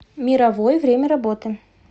мировой время работы